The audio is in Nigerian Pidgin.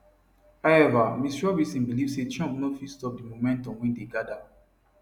however ms robinson believe say trump no fit stop di momentum wey dey gada